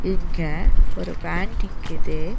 இங்க ஒரு வேன் நிக்கிது.